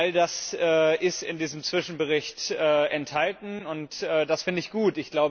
All das ist in diesem Zwischenbericht enthalten, und das finde ich gut.